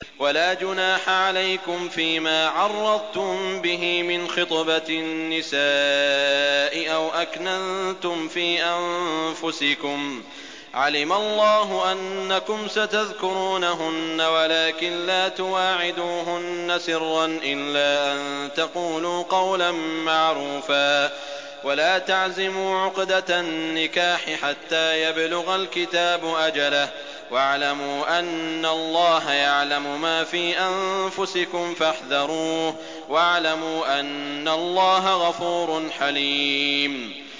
وَلَا جُنَاحَ عَلَيْكُمْ فِيمَا عَرَّضْتُم بِهِ مِنْ خِطْبَةِ النِّسَاءِ أَوْ أَكْنَنتُمْ فِي أَنفُسِكُمْ ۚ عَلِمَ اللَّهُ أَنَّكُمْ سَتَذْكُرُونَهُنَّ وَلَٰكِن لَّا تُوَاعِدُوهُنَّ سِرًّا إِلَّا أَن تَقُولُوا قَوْلًا مَّعْرُوفًا ۚ وَلَا تَعْزِمُوا عُقْدَةَ النِّكَاحِ حَتَّىٰ يَبْلُغَ الْكِتَابُ أَجَلَهُ ۚ وَاعْلَمُوا أَنَّ اللَّهَ يَعْلَمُ مَا فِي أَنفُسِكُمْ فَاحْذَرُوهُ ۚ وَاعْلَمُوا أَنَّ اللَّهَ غَفُورٌ حَلِيمٌ